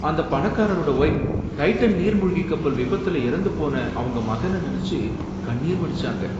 அந்த பணக்காரரோட wife Titan நீர் மூழ்கிக் கப்பல் விபத்துல இறந்து போன அவங்க மகன நெனச்சு கண்ணீர் வடிச்சாங்க.